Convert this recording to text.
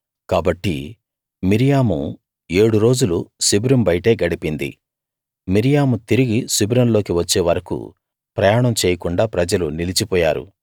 కాబట్టి మిర్యాము ఏడు రోజులు శిబిరం బయటే గడిపింది మిర్యాము తిరిగి శిబిరంలోకి వచ్చే వరకూ ప్రయాణం చేయకుండా ప్రజలు నిలిచిపోయారు